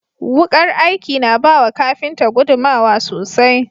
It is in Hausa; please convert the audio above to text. Wukar aiki na bawa kafinta gudunmawa sosai.